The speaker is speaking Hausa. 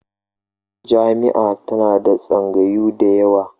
Jami'a tana da tsangayu da yawa